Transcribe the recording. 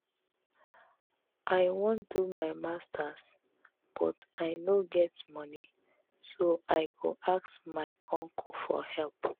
I wan do my masters but I no get money so I go ask my uncle for help